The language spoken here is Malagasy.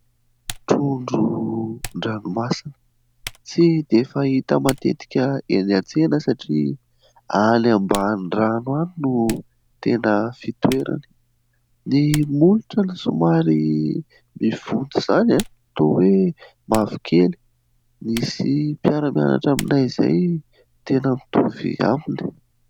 Trondron-dranomasina tsy dia fahita matetika eny an-tsena satria any ambany rano any no tena fitoerany. Ny molotra aloha somary mivonto izany, toa hoe mavokely. Misy mpiara-mianatra aminay izay tena mitovy aminy.